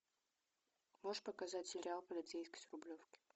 можешь показать сериал полицейский с рублевки